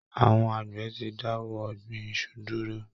Àwọn Àgbẹ̀ ti dáwọ́ ọ̀gbìn iṣu dúró